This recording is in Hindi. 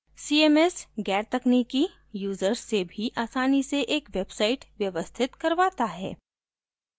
cms गैरतकनिकी users से भी आसानी से एक website व्यवस्थित करवाता है